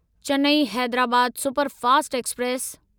Chennai Hyderabad superfast express